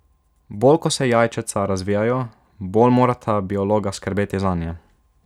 Bolj ko se jajčeca razvijajo, bolj morata biologa skrbeti zanje.